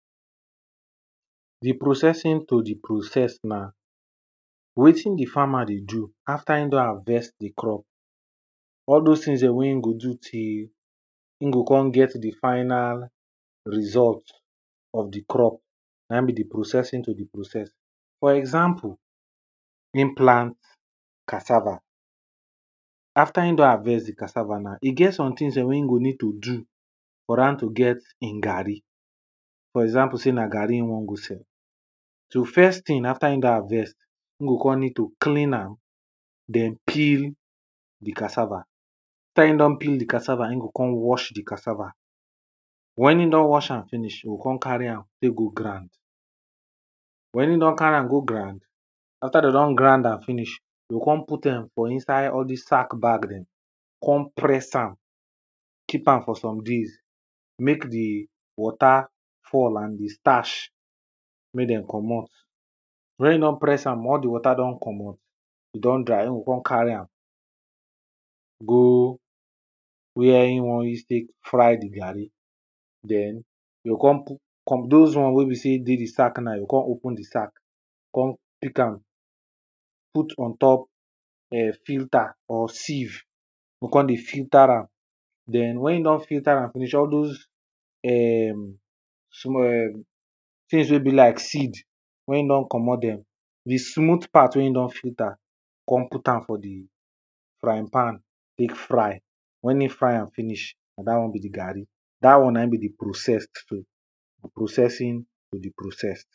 Di processing to di processed na wetin di farmer dey do after im don harvest di crop. All those things dem wey im dey do till, im go come get di final result of di crop, na im be di processing to di processed. For example, im plant cassava, after im don harvest di cassava now, e get some things dem wey e go need to do for am to get im garri, for example sey na garri e wan go sell. So first thing after him don harvest, im go come need to clean am, den peel di cassava, after im don peel di cassava, im go come wash di cassava, wen im don wash am finish, im go come carry am, take go ground, wen im don ground am, after dem don ground dem finish, e come put dem for inside all these sack bag dem, come press am, keep am for some days, make di water fall, and di starch make dem komot. Wen im don press am, all di water don komot, e don dry, im go come carry am go where im wan use take fry di garri den, e go come [2] those one wen be sey e dey di sack na, im go come open di sack, come pick am, put on top filter or sieve go come dey filter am, den wen im don filter am finish, all those [urn] small [urn] things wey be like seed, wen im don komot dem, di smooth part wey im don filter come put am for di frying pan take fry, wen im fry am finish, na dat one be di garri, dat one be di processed so, di processing of di processed.